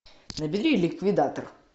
набери ликвидатор